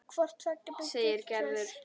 segir Gerður.